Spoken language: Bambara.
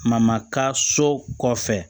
ka so kɔfɛ